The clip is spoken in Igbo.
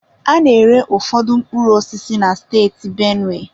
A na-ere ụfọdụ mkpụrụ osisi na steeti benue.